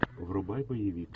врубай боевик